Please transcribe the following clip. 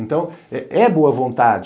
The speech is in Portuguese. Então, é boa vontade.